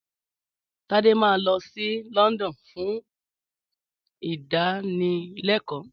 Tade máa lọ sí London fún ìdánilekòó